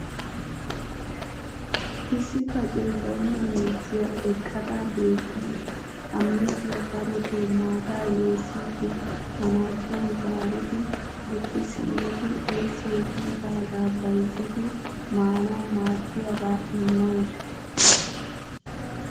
issi kacee baynna miizziya eqqada beetawusu. ha miizziya darotoo maataa yeessidi manaacciyan zaaridi bukki simmidi oyssay kiyidaagaa bayzzidi maanawu maadiyaaba immawusu.